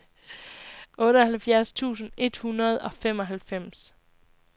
otteoghalvfjerds tusind et hundrede og femoghalvfems